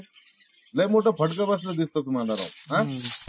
लय मोठा फटका बसलेला दिसतो तुम्हाला राव हा.